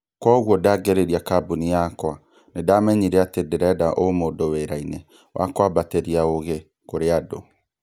Kwoguo ndangĩrĩria kambuni yakwa, nĩndamenyire atĩ ndĩrenda ũmũndũ wĩra-inĩ wa kwambatĩria ũũgĩ kũrĩ andũ